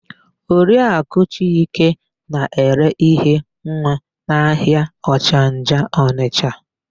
Oriakụ Chike na-ere íhé nwa n'ahịa Ọchanja Ọnịsha.